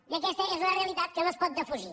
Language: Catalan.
i aquesta és una realitat que no es pot defugir